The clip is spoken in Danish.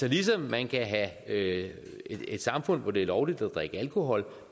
ligesom man kan have et samfund hvor det er lovligt at drikke alkohol